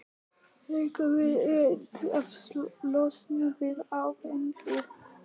Líkaminn reynir að losna við áfengið.